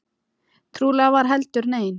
Trúlega var heldur aldrei nein.